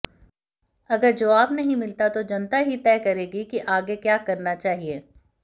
अगर जवाब नहीं मिलता तो जनता ही तय करेगी कि आगे क्या करना चाहिए